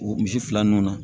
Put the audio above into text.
O misi fila nun na